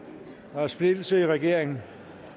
der er splittelse i regeringen